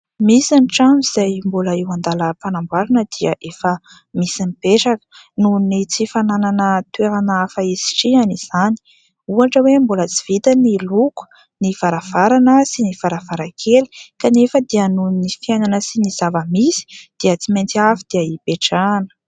Misy ny trano izay mbola eo an-dalam-panamboarana dia efa misy mipetraka. Noho ny tsy fananana toerana hafa hisitrihana izany. Ohatra hoe : mbola tsy vita ny loko, ny varavarana sy ny varavarankely kanefa dia noho ny fiainana sy ny zava-misy, dia tsy maintsy avy dia ipetrahana.